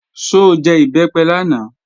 Ṣó jẹ Ìbẹ́pẹ lánàá?